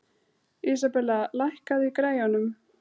Isabella, lækkaðu í græjunum.